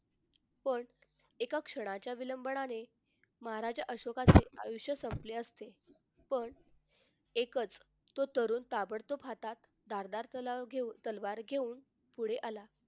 पण एका क्षणाचा विलंबनाने महाराज अशोकाच्या आयुष्य संपले असते पण एकच तो तरुण ताबडतोब हातात धारदार तलवार तलवार घेऊन पुढे आला